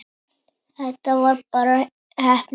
Þetta var bara heppni.